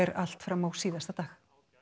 allt fram á síðasta dag